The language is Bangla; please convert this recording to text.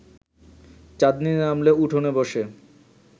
চাঁদনি নামলে উঠোনে বসে